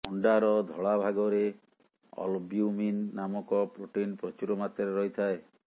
ଅଣ୍ଡାର ଧଳା ଭାଗରେ ଅଲବ୍ୟୁମିନ୍ ନାମକ ପ୍ରୋଟିନ୍ ପ୍ରଚୁର ମାତ୍ରାରେ ରହିଥାଏ